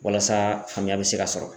Walasa faamuya be se ka sɔrɔ